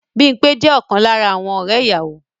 Bímpé jẹ́ ọ̀kan lára àwọn ọ̀rẹ́ ìyàwó